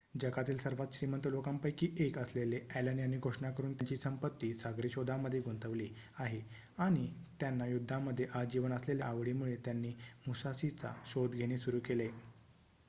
जगातील सर्वात श्रीमंत लोकांपैकी एक असलेले ॲलन यांनी घोषणा करून त्यांची संपत्ती सागरी शोधांमध्ये गुंतवली आहे आणि त्यांना युद्धामध्ये आजीवन असलेल्या आवडीमुळे त्यांनी मुसाशीचा शोध घेणे सुरू केले